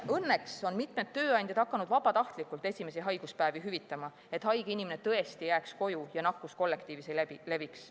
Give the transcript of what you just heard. Õnneks on mitmed tööandjad hakanud vabatahtlikult esimesi haiguspäevi hüvitama, et haige inimene tõesti jääks koju ja nakkus kollektiivis ei leviks.